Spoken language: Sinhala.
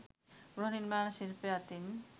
ගෘහ නිර්මාණ ශිල්පය අතින්